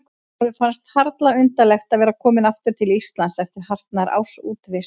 Honum fannst harla undarlegt að vera kominn aftur til Íslands eftir hartnær árs útivist.